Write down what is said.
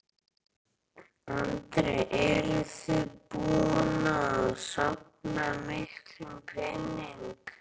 Andri: Eruð þið búin að safna miklum pening?